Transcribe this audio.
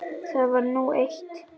Það var nú eitt.